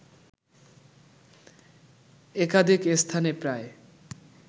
একাধিক স্থানে প্রায়